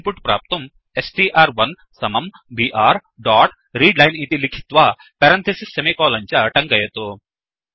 input प्राप्तुं स्ट्र्1 समं बीआर डोट् रीडलाइन् इति लिखित्वा पेरन्थिसिस् सेमिकोलन् च टङ्कयतु